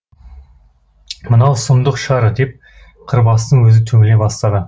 мынау сұмдық шығар деп қырбастың өзі түңіле бастады